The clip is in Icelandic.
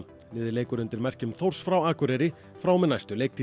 liðið leikur undir merkjum Þórs frá Akureyri frá og með næstu leiktíð